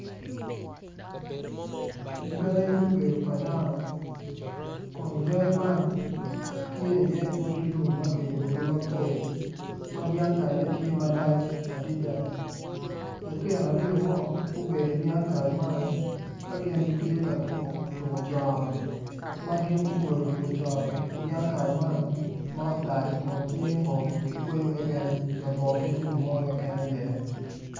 Gangi me bedo pa dano kun gangi man tye iye odi lum ma kiyubogi mapol ma dyang kalle tye malac adada lutino aryo mo gubedo i dyang kal man ka gin gitye ka tuko tuko coro ma gin gugolo bur coro i dyang kal man ma otal kun tye ngom ki kweyo kekekn labongo kit lum mo keken i ye.